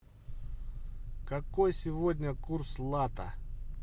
какой сегодня курс лата